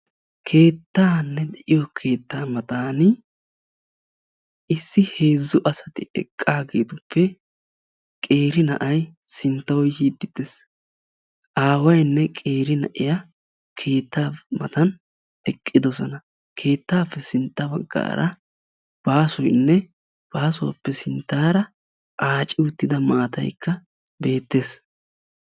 Keettaanne de'iyo keettaa mataani issi heezzu asati eqqaageetuppe qeeri na'ay sinttawu yiiddi des. Aawayinne qeeri na'iya keettaa matan eqqidosona. Keettaappe sintta baggaara baasoyinne baasuwappe sinttaara aaci uttida maattayikka beettes.